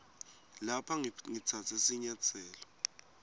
lapha ngitsatse sinyatselo